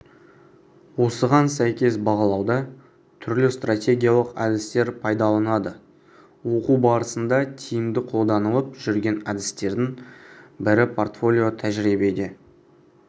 осыған сәйкес бағалауда түрлі стратегиялық әдістер пайдаланылады оқу барысында тиімді қолданылып жүрген әдістердің бірі портфолио тәжірибеде